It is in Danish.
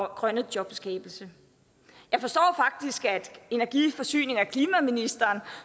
grønne jobskabelse jeg forstår at energi forsynings og klimaministeren